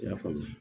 I y'a faamu